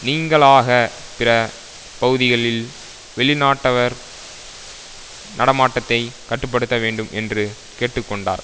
நீங்கலாக பிற பகுதிகளில் வெளிநாட்டவர் நடமாட்டத்தை கட்டு படுத்த வேண்டும் என்று கேட்டு கொண்டார்